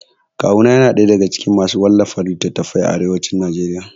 Kawu na yana ɗaya daga cikin masu wallafa littatafai a arewacin Najeriya